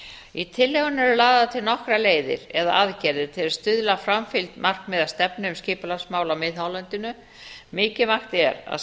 í tillögunni eru lagðar til nokkrar leiðir eða aðgerðir til að stuðla að framfylgd markmiða stefnu um skipulagsmál á miðhálendinu mikilvægt er að